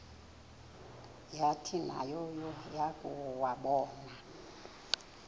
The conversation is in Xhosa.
yathi nayo yakuwabona